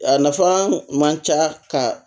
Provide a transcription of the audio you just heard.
A nafa man ca ka